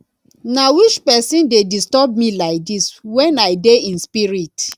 na which person dey disturb me like dis wen i dey in spirit